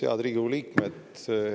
Head Riigikogu liikmed!